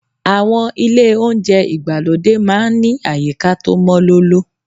Àwọn ilé oúnjẹ ìgbàlódé máa ń ní àyíká tó mọ́ lóló.